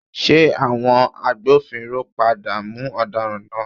Ṣé àwọn agbófinró padà mú ọ̀daràn náà?